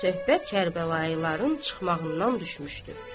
Söhbət Kərbəlayıların çıxmağından düşmüşdü.